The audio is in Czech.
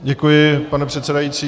Děkuji, pane předsedající.